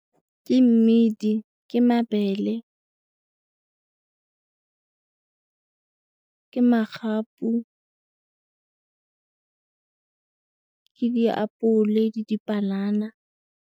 Ke mmidi, ke mabele, ke magapu, ke diapole le dipanana.